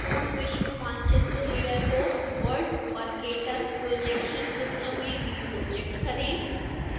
पूर्ण विश्व मानचित्र layer को world mercator projection सिस्टम में रिप्रोजेक्ट करें